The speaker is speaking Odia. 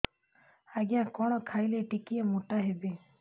ଆଜ୍ଞା କଣ୍ ଖାଇଲେ ଟିକିଏ ମୋଟା ହେବି